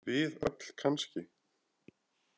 Við öll kannski?